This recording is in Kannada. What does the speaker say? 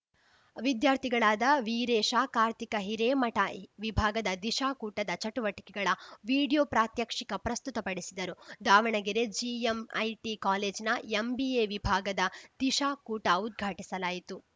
ವಿದ್ಯಾರ್ಥಿಗಳಾದ ವೀರೇಶ ಕಾರ್ತಿಕ ಹಿರೇಮಠ ವಿಭಾಗದ ದಿಶಾ ಕೂಟದ ಚಟುವಟಿಕೆಗಳ ವೀಡಿಯೋ ಪ್ರಾತ್ಯಕ್ಷಿಕ ಪ್ರಸ್ತುತಪಡಿಸಿದರುದಾವಣಗೆರೆ ಜಿಎಂಐಟಿ ಕಾಲೇಜಿನ ಎಂಬಿಎ ವಿಭಾಗದ ದಿಶಾ ಕೂಟ ಉದ್ಘಾಟಿಸಲಾಯಿತು